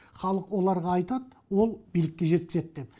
халық оларға айтады ол билікке жеткізеді деп